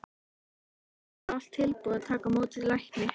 Á Raufarhöfn var allt tilbúið að taka á móti lækni.